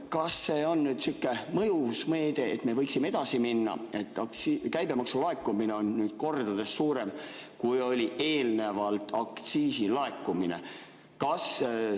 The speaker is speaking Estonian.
Kas see on nüüd sihuke mõjus meede, et me võiksime edasi minna, kuna käibemaksu laekumine on nüüd kordades suurem, kui oli eelnevalt aktsiisi laekumine?